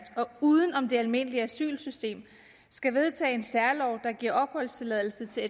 og uden om det almindelige asylsystem skal vedtage en særlov der giver opholdstilladelse til